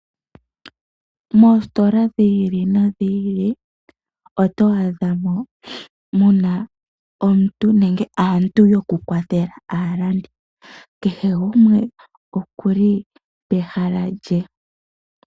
Moositola dhi ili no dhi ili oto adhamo muna omuntu nenge aantu yoku kwathela aalandi. Kehe gumwe okuli pehala lye.